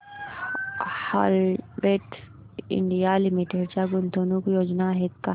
Havells India limited च्या गुंतवणूक योजना आहेत का